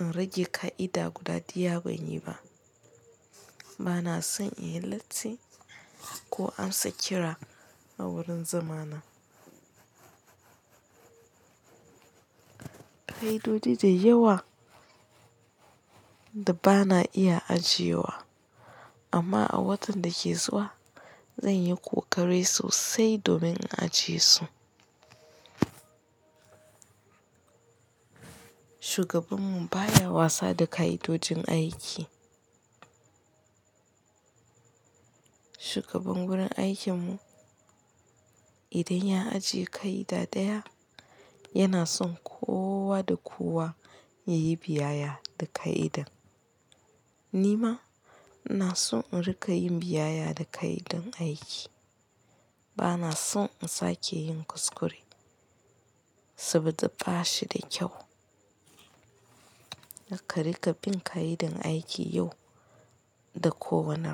in riƙe ka'ida guda ɗaya banyi ba. Bana son in yi latti ko amsa kira a wurin zamana. Ka'idoji da yawa da bana iya ajiye wa amma a watan da ke zuwa zan yi kokari sosai domin ajiye su. Shugabanmu baya wasa da ka'idojin aiki. Shugaban wurin aikinmu idan ya ajiye ka'ida ɗaya yana son kowa da kowa ya yi biyayya da ka'idan. Ni ma ina son in riƙa yin biyayya da ka'idar aiki. Bana son in sake yin kuskure saboda bashi da kyau. Kar ka riƙa bin ka'idar aiki yau da kowane rana.